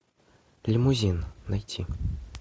лимузин найти